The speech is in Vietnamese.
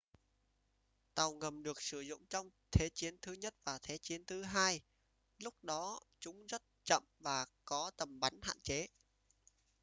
tàu ngầm được sử dụng trong thế chiến thứ nhất và thế chiến thứ hai lúc đó chúng rất chậm và có tầm bắn hạn chế